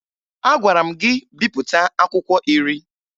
Agwara m gị bipụta akwụkwọ iri!